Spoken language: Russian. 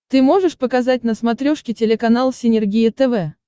ты можешь показать на смотрешке телеканал синергия тв